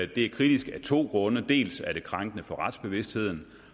det er kritisk af to grunde dels er det krænkende for retsbevidstheden